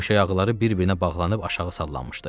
Döşək ağları bir-birinə bağlanıb aşağı sallanmışdı.